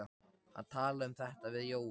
Hann talaði um þetta við Jóa.